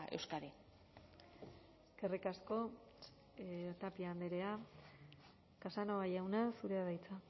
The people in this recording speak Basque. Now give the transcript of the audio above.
euskadi eskerrik asko tapia andrea casanova jauna zurea da hitza